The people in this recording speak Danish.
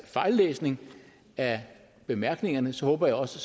fejllæsning af bemærkningerne så håber jeg også